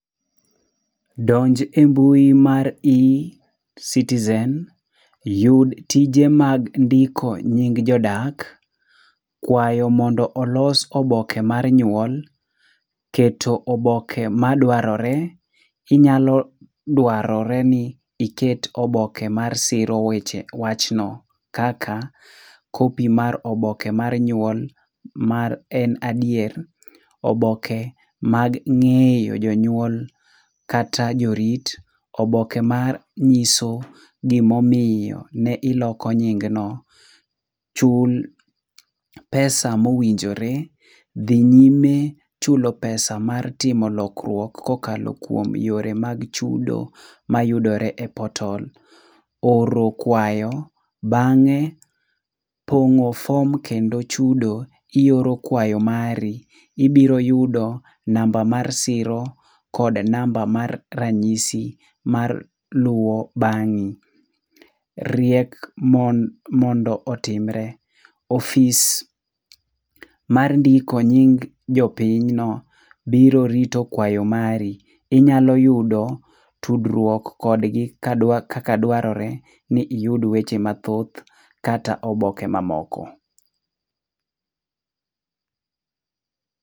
Donj e mbui mar eCitizen, yud tije mag ndiko nying jodak, kwayo mondo olos oboke mar nyuol, keto oboke madwarore. Inyalo dwarore ni iket oboke masiro wachno kaka, [cs[copy mar oboke mar nyuol mar en adier, oboke mag ng'eyo jonyuol kata jorit, oboke manyiso gimomiyo ne iloko nyingno. Chul pesa mowinjore, dhi nyime chulo pesa mar timo lokruok kokalo kuom yore mag chudo mayudore e portal, oro kwayo, bang'e pong'o fom kendo chudo. Ioro kwayo mari. Ibiro yudo namba mar siro kod namba mar ranyisi mar luwo bang'i. Riek mondo otimre. Ofis mar ndiko nying jopinyno biro rito kwayo mari. Inyalo yudo tudruok kodgi kaka dwarore ni iyud weche mathoth kata oboke mamoko.